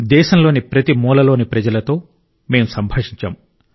దేశంలోని ప్రతి మూలలోని ప్రజలతో మేం సంభాషించాం